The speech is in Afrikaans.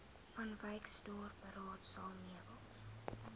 vanwyksdorp raadsaal meubels